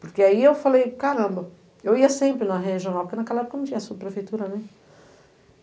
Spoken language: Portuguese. Porque aí eu falei, caramba, eu ia sempre na regional, porque naquela época não tinha subprefeitura, né?